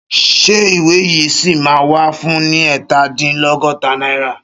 Ṣé ìwé yìí ṣì máa wà fún ni ẹ̀ta dín lọ́góta náírà?